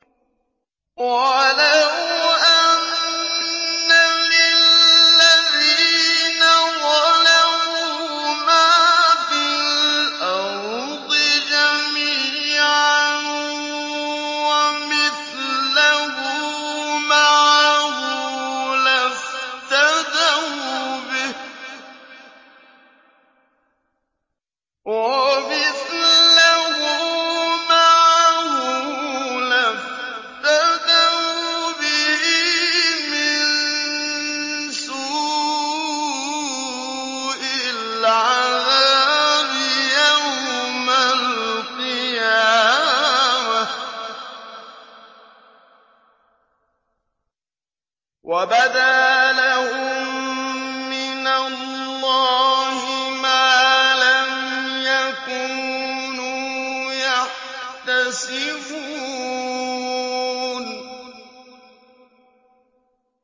وَلَوْ أَنَّ لِلَّذِينَ ظَلَمُوا مَا فِي الْأَرْضِ جَمِيعًا وَمِثْلَهُ مَعَهُ لَافْتَدَوْا بِهِ مِن سُوءِ الْعَذَابِ يَوْمَ الْقِيَامَةِ ۚ وَبَدَا لَهُم مِّنَ اللَّهِ مَا لَمْ يَكُونُوا يَحْتَسِبُونَ